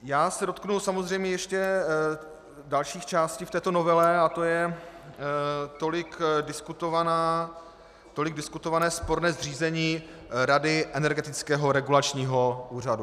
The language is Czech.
Já se dotknu samozřejmě ještě dalších částí v této novele a to je tolik diskutované sporné zřízení rady Energetického regulačního úřadu.